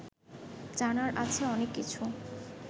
জানার আছে অনেক কিছু